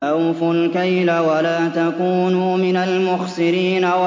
۞ أَوْفُوا الْكَيْلَ وَلَا تَكُونُوا مِنَ الْمُخْسِرِينَ